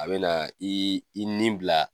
A bɛna i i ni bila